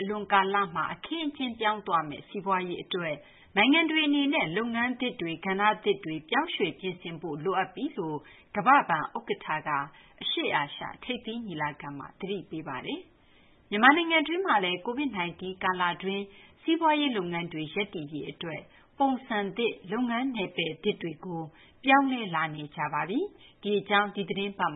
အလွန်ကာလမှာ အခင်းအကျင်း ပြောင်းသွားမယ့် စီးပွားရေး အတွက် နိုင်ငံတွေ အနေနဲ့ လုပ်ငန်းသစ်တွေ ကဏ္ဍသစ်တွေ ပြောင်းရွှေ့ ပြင်ဆင်ဖို့ လိုအပ်ပြီလို့ ကမ္ဘာ့ဘဏ် ဥက္ကဌက အရှေ့အာရှ ထိပ်သီး ညီလာခံမှာ သတိပေးလိုက်ပါတယ်။ မြန်မာနိုင်ငံတွင်းမှာလည်း COVID 19 ကာလ အတွင်း စီးပွားရေး လုပ်ငန်းတွေ ရပ်တည်ရေး အတွက် ပုံစံသစ် လုပ်ငန်း နယ်ပယ်သစ်တွေကို ပြောင်းလဲလာနေကြတဲ့ အကြောင်း ဒီသီတင်းပတ်